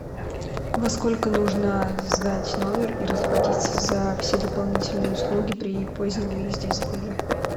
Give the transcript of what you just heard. во сколько нужно сдать номер и расплатиться за все дополнительные услуги при позднем выезде из отеля